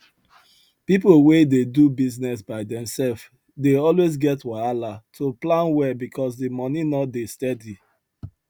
people wey dey do business by themself dey always get wahala to plan well because the money no dey steady